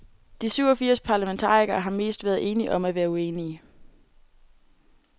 De syv og firs parlamentarikere har mest været enige om at være uenige.